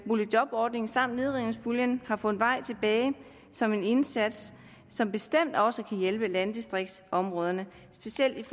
boligjobordningen samt nedrivningspuljen har fundet vej tilbage som en indsats som bestemt også kan hjælpe landdistriktsområderne specielt